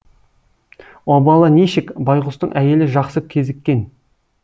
обалы нешік байғұстың әйелі жақсы кезіккен